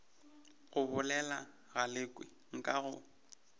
go bolela galekwe nka go